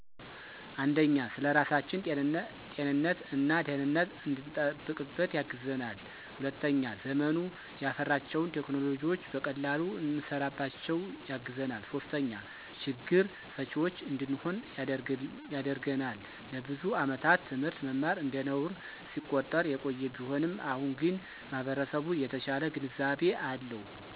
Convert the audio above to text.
፩) ስለራሳችን ጤንነት እና ደህነት እንድንጠብቅበት ያግዘናል። ፪) ዘመኑ ያፈራቸውን ቴክኖሎጅዎች በቀላሉ እንሰራባቸው ያግዘናል። ፫) ችግር ፈችዎች እንድንሆን ያደርግናል። ለብዙ አመታት ት/ት መማር እንደነውር ሲቆጠር የቆየ ቢሆንም አሁን ግን ማህበረሰቡ የተሻለ ግንዛቤ አለው።